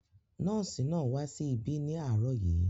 Nọ́ọ̀sì náà wá sí ibi ní àárọ̀ yìí